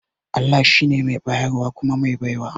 Allah shi ne mai bayarwa kuma mai baiwa